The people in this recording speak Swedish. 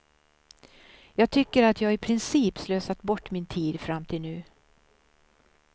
Jag tycker att jag i princip slösat bort min tid fram till nu.